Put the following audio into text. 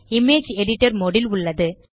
image editor mode உள்ளது